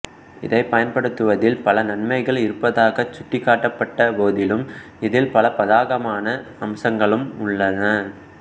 இதனைப் பயன்படுத்துவதில் பல நன்மைகள் இருப்பதாகச் சுட்டிக்காட்டப்பட்ட போதிலும் இதில் பல பாதகமான அம்சங்களும் உள்ளன